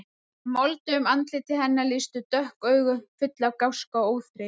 Í moldugu andliti hennar lýstu dökk augu, full af gáska og óþreyju.